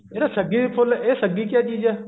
ਜਿਹੜਾ ਸੱਗੀ ਫੁੱਲ ਸੱਗੀ ਕਿਆ ਚੀਜ਼ ਹੈ